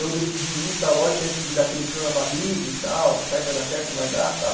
Eu decidi ir tal, lógico que antes de ir dá aquele frio na barriga e tal, será que vai dar certo, não vai dar e tal.